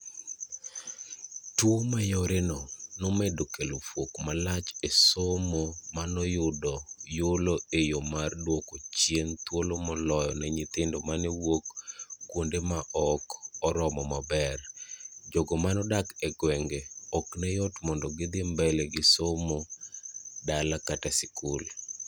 Tuo mayoreno nomedo kelo fuok malach esomo manoyudo yulo eyoo mar duoko chien thuolo moloyo ne nyithindo mane wuok kuonde maok oromo maber-jogo manodak egwenge ok neyot mondo gidhi mbele gisomo dala kata sikul.